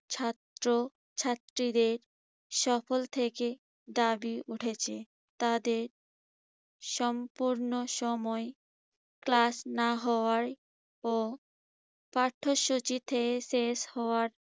ছাত্রছাত্রীদের সকল থেকে দাবি উঠেছে। তাদের সম্পূর্ণ সময় class না হওয়ায় ও পাঠ্যসূচিতে শেষ হওয়ায়